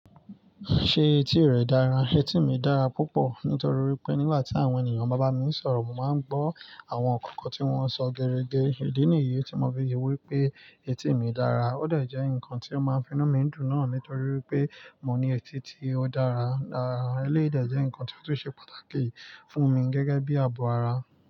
Ṣé etí rẹ dára? Etí mi dára púpọ̀ nítorí wipé nígbà tí àwọn ènìyàn bá ba mi i sọ̀rọ̀, mo máa ń gbọ́ àwọn nnkan kan tí wọ́n sọ gere ge. Ìdí nìyí tí mo fi wí pé etí mi dára. Ó de jẹ́ nǹkan tí ó máa ń fi inú mi dùn náà nítorí wipé mo ní etí tí ó dára dára. Eleyii de jẹ́ ǹnkan tí ó tun ṣe pàtàkì fún mi gẹ́gẹ́ bí i ààbò ara.